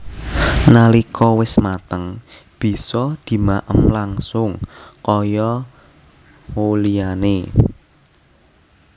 Nalika wis mateng bisa dimaem langsung kaya who liyane